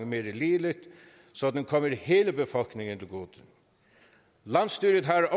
mere ligeligt så den kommer hele befolkningen til gode landsstyret har